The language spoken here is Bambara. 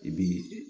I bi